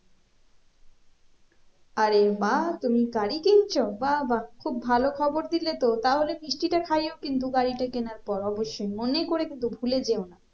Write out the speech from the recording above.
আরে বাহ্ তুমি গাড়ি কিনছো? বা বাহ্ খুব ভালো খবর দিলে তো, তাহলে মিষ্টি টা খাইও কিন্তু গাড়িটা কেনার পর অবশ্যই মনে করে কিন্তু ভুলে যেও না।